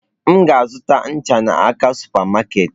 M ga-azụta ncha m n'aka super market.